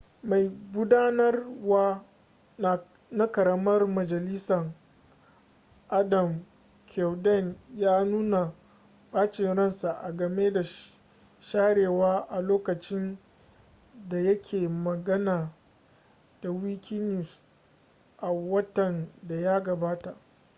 mai gudanarwa na ƙaramar majalisa adam cuerden ya nuna ɓacin ransa a game da sharewa a lokacin da ya ke magana da wikinews a watan da ya gabata